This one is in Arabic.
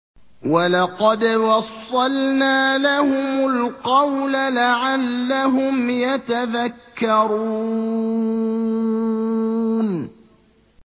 ۞ وَلَقَدْ وَصَّلْنَا لَهُمُ الْقَوْلَ لَعَلَّهُمْ يَتَذَكَّرُونَ